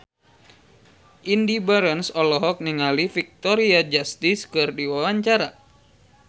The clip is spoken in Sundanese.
Indy Barens olohok ningali Victoria Justice keur diwawancara